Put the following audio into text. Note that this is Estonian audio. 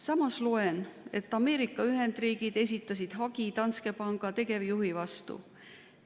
Samas loen, et Ameerika Ühendriigid esitasid hagi Danske Banki tegevjuhi vastu.